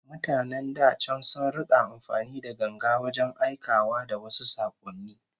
Mutanen da can sun rika amfani da ganga wajen aikawa da wasu sakonni